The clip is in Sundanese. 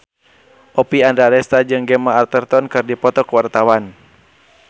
Oppie Andaresta jeung Gemma Arterton keur dipoto ku wartawan